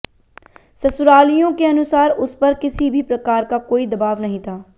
ससुरालियों के अनुसार उस पर किसी भी प्रकार का कोई दबाव नहीं था